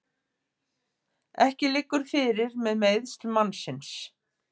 Ekki liggur fyrir með meiðsl mannsins